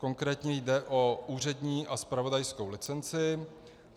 Konkrétně jde o úřední a zpravodajskou licenci.